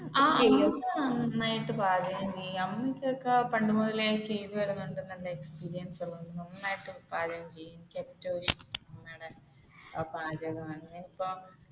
നന്നായിട്ട് പാചകം ചെയ്യും അമ്മയ്ക്കൊക്കെ പണ്ടുമുതലേ ചെയ്തുവരുന്നത് കൊണ്ട് നന്നായിട്ട് പാചകം ചെയ്യും